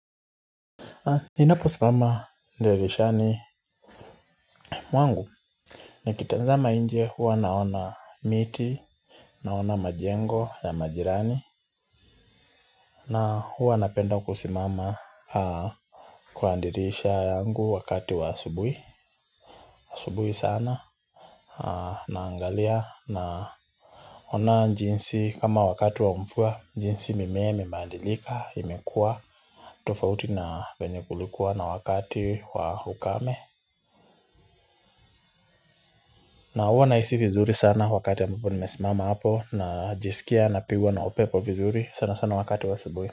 Ninaposimama dirishani mwangu nikitazama nje huwa naona miti naona majengo ya majirani na huwa napenda kusimama kwa dirisha yangu wakati wa asubui asubui sana naangalia naona jinsi kama wakati wa mvua jinsi mimea imebadilika imekua tofauti na wenye kulikuwa na wakati wa ukame. Na uwa nahisi vizuri sana wakati ambapo nimesimama hapo najisikia napigwa na upepo vizuri sana sana wakati wa asubui.